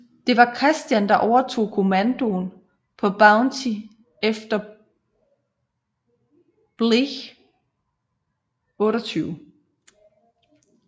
Det var Christian der overtog kommandoen på Bounty efter Bligh 28